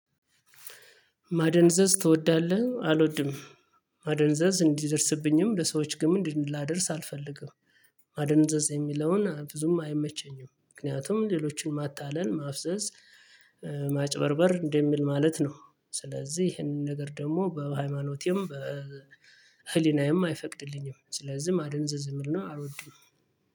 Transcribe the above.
ማደንዘዝ ትወዳለህ አልወድም ማደንዘዝ እንዲደርስብኝም ለሰዎች ግን ምን ላደርስ አልፈልግም። ማደንዘዝ የሚለውን ብዙም አይመቸኝም ምክንያቱም ሌሎችን ማታለል ማፍዘዝ። ማጭበርበር እንደሚል ማለት ነው። ስለዚህ ይሄንን ነገር ደግሞ በሃይማኖቴም በህሊናዬም አይፈቅድልኝም። ስለዚህም ማደንዘዝ ዝምልና አልወድም።